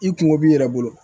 I kungo b'i yɛrɛ bolo